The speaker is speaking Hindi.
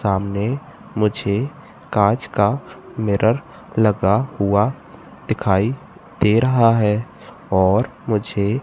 सामने मुझे कांच का मिरर लगा हुआ दिखाई दे रहा है और मुझे--